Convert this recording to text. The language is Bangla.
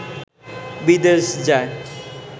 বিদেশ যায়